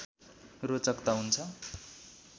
रोचक त हुन्छ